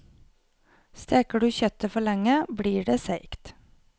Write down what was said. Steker du kjøttet for lenge, blir det seigt.